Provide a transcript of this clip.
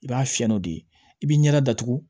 I b'a fiyɛ n'o de ye i b'i ɲɛda datugu